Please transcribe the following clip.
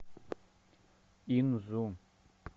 инзу